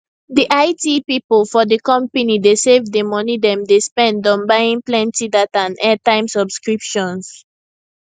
di it people for di company dey save di money dem dey spend on buying plenty data and airtime subscriptions